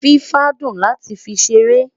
fifa dùn láti fí ṣeré